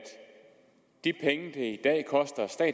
vi